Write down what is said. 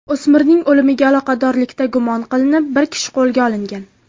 O‘smirning o‘limiga aloqadorlikda gumon qilinib bir kishi qo‘lga olingan.